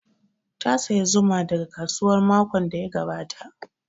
Ta saya zuma daga kasuwa makon da ya gabata